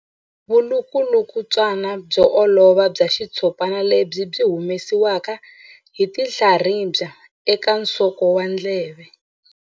Vulukulutswana byo olova bya xitshopana lebyi byi humesiwaka hi tinhlaribya eka nsoko wa ndleve.